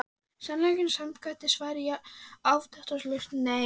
Sannleikanum samkvæmt var svarið afdráttarlaust nei.